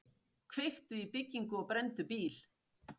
Kveiktu í byggingu og brenndu bíl